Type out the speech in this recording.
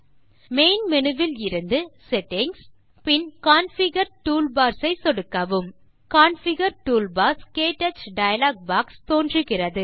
main menu விலிருந்து settings பின் configure toolbars ஐ சொடுக்கவும் கான்ஃபிகர் டூல்பார்ஸ் - க்டச் டயலாக் பாக்ஸ் தோன்றுகிறது